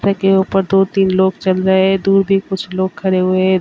के ऊपर दो तीन लोग चल रहें हैं दूर भी कुछ लोग खड़े हुए हैं।